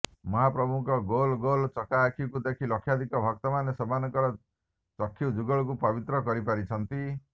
ମହାପ୍ରଭୁଙ୍କ ଗୋଲ ଗୋଲ ଚକାଆଖିକୁ ଦେଖି ଲକ୍ଷାଧିକ ଭକ୍ତମାନେ ସେମାନଙ୍କର ଚକ୍ଷୁଯୁଗଳକୁ ପବିତ୍ର କରିପାରିଛନ୍ତି